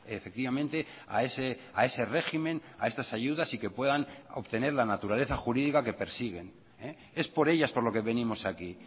efectivamente a ese régimen a estas ayudas y que puedan obtener la naturaleza jurídica que persiguen es por ellas por lo que venimos aquí